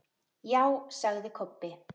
Já, sagði Kobbi.